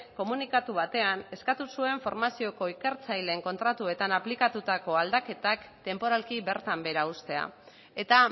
komunikatu batean eskatu zuen formazioko ikertzaileen kontratuetan aplikatutako aldaketak tenporalki bertan behera uztea eta